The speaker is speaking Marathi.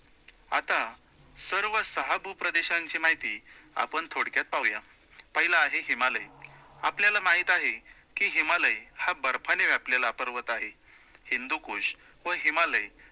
आता सर्व सहा भूप्रदेशांची माहिती आपण थोडक्यात पाहूया. पहिला आहे हिमालय, आपल्याला माहित आहे, की हिमालय हा बर्फाने व्यापलेला पर्वत आहे. हिंदूकुश व हिमालय